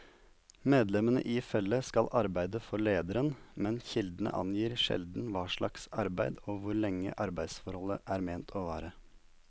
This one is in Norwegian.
Medlemmene i følget skal arbeide for lederen, men kildene angir sjelden hva slags arbeid og hvor lenge arbeidsforholdet er ment å vare.